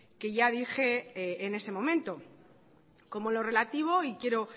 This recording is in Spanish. que ya dije en ese momento como lo relativo y quiero